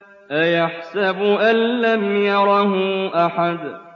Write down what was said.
أَيَحْسَبُ أَن لَّمْ يَرَهُ أَحَدٌ